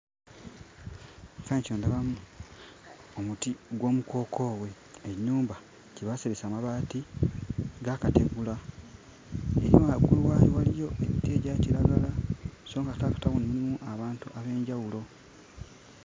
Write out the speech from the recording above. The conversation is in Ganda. Ekifaananyi kino ndabamu omuti gw'omukookoowe, ennyumba gye baaseresa amabaati g'akategula era nga waggulu wali waliyo emiti egya kiragala so ng'ate mu katawuni mulimu abantu ab'enjawulo.